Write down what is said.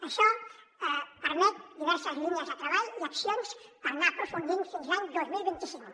això permet diverses línies de treball i accions per anar hi aprofundint fins a l’any dos mil vint cinc